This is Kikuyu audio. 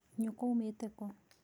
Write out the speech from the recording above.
Nyũkwa aumĩte kũ?